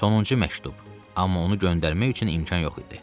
Sonuncu məktub, amma onu göndərmək üçün imkan yox idi.